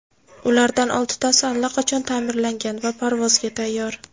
Ulardan oltitasi allaqachon ta’mirlangan va parvozga tayyor.